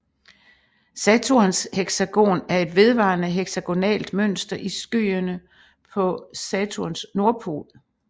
Saturns heksagon er et vedvarende heksagonalt mønster i skyene på Saturns nordpol